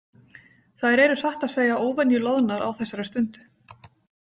Þær eru satt að segja óvenju loðnar á þessari stundu.